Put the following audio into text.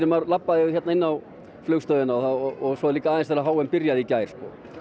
maður labbaði hérna inn á flugstöðina svo líka aðeins þegar h m byrjaði í gær